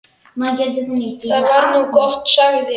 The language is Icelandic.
Það var nú gott, sagði